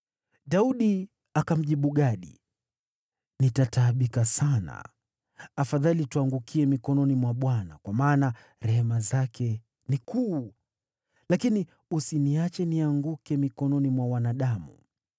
Daudi akamjibu Gadi, “Nitataabika sana. Afadhali tuangukie mikononi mwa Bwana , kwa maana rehema zake ni kuu, lakini usiniache nianguke mikononi mwa wanadamu.”